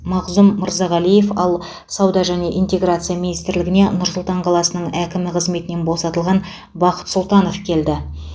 мағзұм мырзағалиев ал сауда және интеграция министрлігіне нұр сұлтан қаласының әкімі қызметінен босатылған бақыт сұлтанов келді